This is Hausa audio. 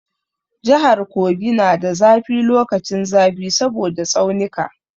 Jahar Kogi na da zafi lokacin zafi saboda tsaunika.